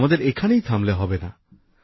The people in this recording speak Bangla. আমাদের এখানেই থামলে হবে না